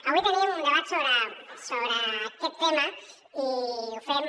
avui tenim un debat sobre aquest tema i ho fem